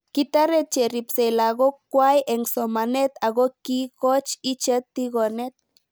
Kitaret cheripsei lakok kwai eng' somanet ako kiikoch ichet tigonet